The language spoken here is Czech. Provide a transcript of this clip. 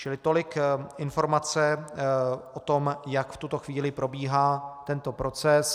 Čili tolik informace o tom, jak v tuto chvíli probíhá tento proces.